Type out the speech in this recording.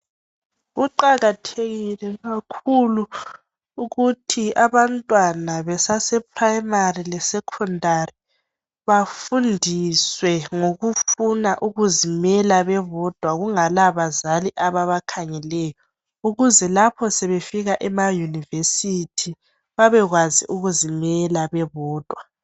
Kuqakathekile kakhulu ukuthi abantwana besase Primary le Secondary bafundiswe ngokufuna ukuzimela bebodwa kungalabazali ababakhangeleyo ukuze lapho sebefika ema University babekwazi ukuzimela bebodwa .